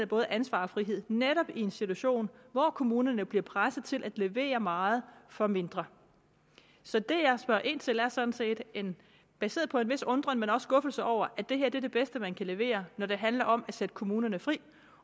både ansvar og frihed netop i en situation hvor kommunerne bliver presset til at levere meget for mindre så det jeg spørger ind til er sådan set baseret på en vis undren men også skuffelse over at det her er det bedste man kan levere når det handler om at sætte kommunerne fri